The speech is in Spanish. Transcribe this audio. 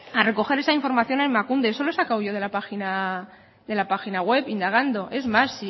a recoger esa información en emakunde eso lo he sacado yo de la página de la página web indagando es más